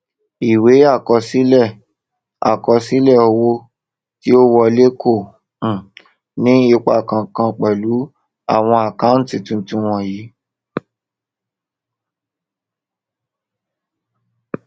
ìwé àkọsílẹ ìwé àkọsílẹ owó tí ó wọlé kò um ní ipa kànkan pẹlú àwon àkántì tuntun wọnyìí